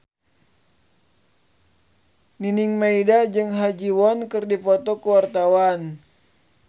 Nining Meida jeung Ha Ji Won keur dipoto ku wartawan